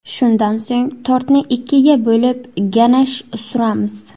Shundan so‘ng tortni ikkiga bo‘lib, ganash suramiz.